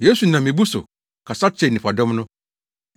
Yesu nam mmebu so ɔkasa kyerɛɛ nnipadɔm no.